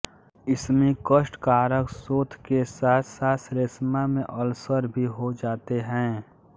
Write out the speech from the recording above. इसमें कष्टकारक शोथ के साथसाथ श्लेष्मा में अल्सर भी हो जाते हैं